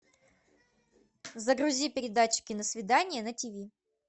загрузи передачу киносвидание на тв